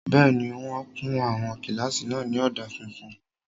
Bẹ́ẹ̀ni, wọ́n kun àwọn kílásì náà ní ọ̀dà funfun